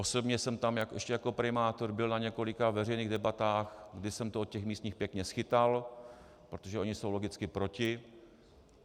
Osobně jsem tam ještě jako primátor byl na několika veřejných debatách, kdy jsem to od těch místních pěkně schytal, protože oni jsou logicky proti.